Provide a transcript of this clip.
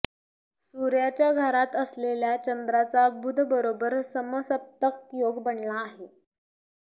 सूर्याच्या घरात असलेल्या चंद्राचा बुधबरोबर समसप्तक योग बनला आहे